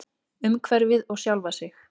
Umhverfið og sjálfa sig.